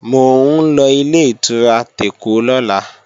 Mò ń lọ Ilé-ìtura tèkó lọ́la